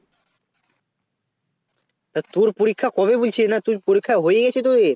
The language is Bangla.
তো তোর পরীক্ষা কবে বলছে না তোর পরীক্ষা হয়ে গেছে তোদের